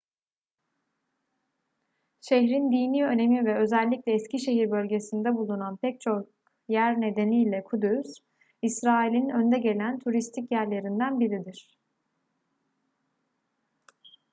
şehrin dini önemi ve özellikle eski şehir bölgesinde bulunan pek çok yer nedeniyle kudüs i̇srail'in önde gelen turistik yerlerinden biridir